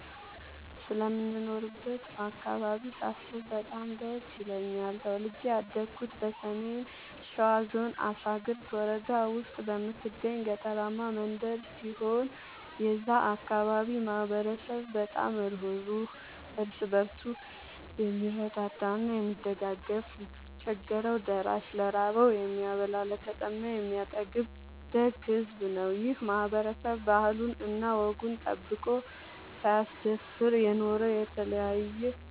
ስለምኖርበት አካባቢ ሳስብ በጣም ደስ ይለኛል። ተወልጄ ያደኩት በሰሜን ሸዋ ዞን አሳግርት ወረዳ ውስጥ በምትገኝ ገጠራማ መንደር ሲሆን የዛ አካባቢ ማህበረሰብ በጣም ሩህሩህ ÷ እርስ በርሱ የምረዳዳ እና የሚደጋገፍ ለቸገረው ደራሽ ÷ ለራበው የሚያበላ ÷ለተጠማ የሚያጠጣ ደግ ሕዝብ ነው። ይህ ማህበረሰብ ባህሉን እና ወጉን ጠብቆ ሳያስደፍር የኖረ የተለያየ